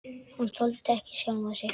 Hann þoldi ekki sjálfan sig.